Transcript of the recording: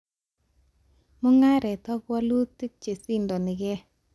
Mugaret ak walutik chesindonikee